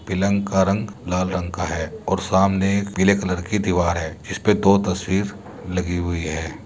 पलंग का रंग लाल रंग का है और सामने पीले कलर की दिवार है। जिस पे दो तस्वीर लगी हुए है |